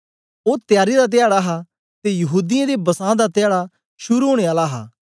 ओ त्यारी दा धयाडा हा ते यहूदीयें दे बसां दा धयाडा शुरू ओनें आला हा